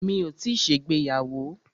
Mi ò tíì ṣègbéyàwó.